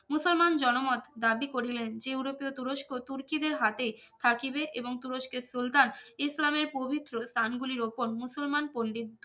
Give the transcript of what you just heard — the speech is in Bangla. মুসলমান জনমত দাবি করিলেন যে ইউরোপীয় তুরস্ক তুর্কিদের হাতে থাকিবে এবং তুরস্কের সুলতান ইসলামের পবিত্র স্থান গুলির ওপর মুসলমান পন্দিত